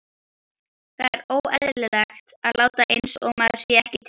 Það er óeðlilegt að láta einsog maður sé ekki til.